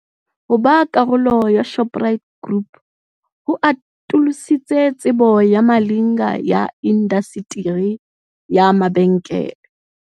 Ho ba karolo ya Shoprite Group ho atolositse tsebo ya Malinga ya indasteri ya mabenkele.